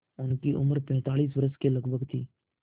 उनकी उम्र पैंतालीस वर्ष के लगभग थी